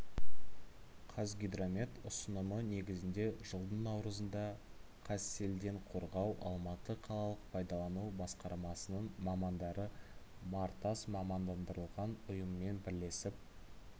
казгидромет ұсынымы негізінде жылдың наурызында қазселденқорғау алматы қалалық пайдалану басқармасының мамандары нартас мамандандырылған ұйыммен бірлесіп